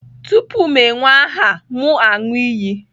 Tupu m ewee aha, m aṅụ iyi.